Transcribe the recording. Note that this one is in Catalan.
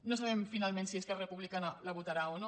no sabem finalment si esquerra republicana la votarà o no